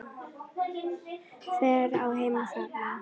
Hver á heima þarna?